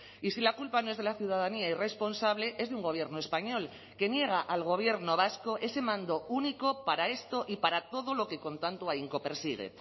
y si la culpa no es de la ciudadanía irresponsable es de un gobierno español que niega al gobierno vasco ese mando único para esto y para todo lo que con tanto ahínco persigue